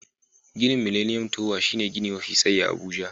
Ginin Miliniyom towa shine gini mafi tsayi a Abuja.